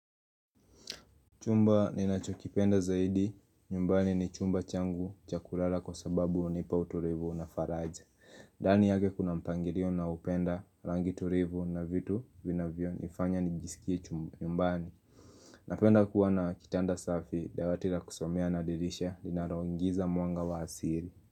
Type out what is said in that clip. Chumba ninachokipenda zaidi, nyumbani ni chumba changu cha kulala kwa sababu hunipa utulivu na faraja. Dani yake kuna mpangirio na upenda, rangi turivu na vitu vina vyo nifanya nijisikie chumba nyumbani. Napenda kuwa na kitanda safi, dawati la kusomea na dirisha, linaloingiza mwanga wa asiri.